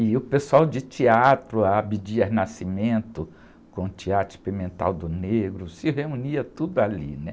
E o pessoal de teatro, ah, Abdias Nascimento, com o Teatro Experimental do Negro, se reunia tudo ali, né?